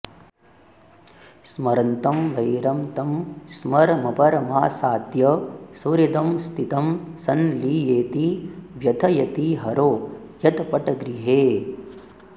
स्मरन्तं वैरं तं स्मरमपरमासाद्य सुहृदं स्थितं संलीयेति व्यथयति हरो यत्पटगृहे